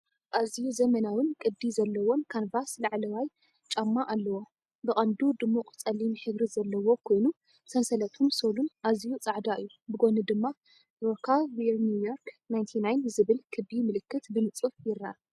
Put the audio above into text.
ኣዝዩ ዘመናውን ቅዲ ዘለዎን ካንቫስ ላዕለዋይ ላዕለዋይ ጫማ ኣለዎ። ብቐንዱ ድሙቕ ጸሊም ሕብሪ ዘለዎ ኮይኑ፡ ሰንሰለቱን ሶልን ኣዝዩ ጻዕዳ እዩ። ብጎኒ ድማ "ROCA WEAR NEW YORK 99" ዝብል ክቢ ምልክት ብንጹር ይርአ።